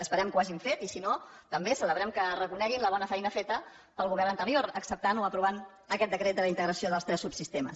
esperem que ho hagin fet i si no també celebrem que reconeguin la bona feina feta pel govern anterior acceptant o aprovant aquest decret de la integració dels tres subsistemes